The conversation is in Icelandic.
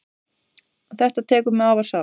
Þetta tekur mig afar sárt.